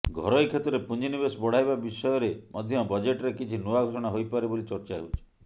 ଘରୋଇ କ୍ଷେତ୍ରରେ ପୁଞ୍ଜିନିବେଶ ବଢ଼ାଇବା ବିଷୟରେ ମଧ୍ୟ ବଜେଟ୍ରେ କିଛି ନୂଆ ଘୋଷଣା ହୋଇପାରେ ବୋଲି ଚର୍ଚ୍ଚା ହେଉଛି